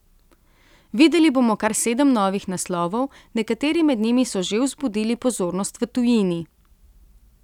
Videli bomo kar sedem novih naslovov, nekateri med njimi so že vzbudili pozornost v tujini.